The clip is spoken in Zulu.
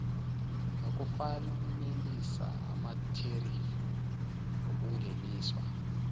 nokufanelisa amatherifi okungeniswa